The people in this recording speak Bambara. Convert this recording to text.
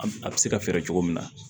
A a bɛ se ka fɛɛrɛ cogo min na